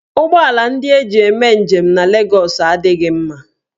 Ụgbọ ala ndị eji eme njem na Legọs adịghị mma.